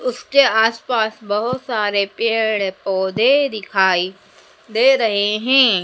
उसके आसपास बहोत सारे पेड़ पौधे दिखाई दे रहे हैं।